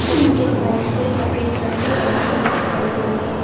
इनके साइड से सफेद रंग की बाउंड्री भी दिखाई दे रही है।